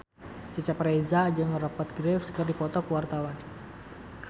Cecep Reza jeung Rupert Graves keur dipoto ku wartawan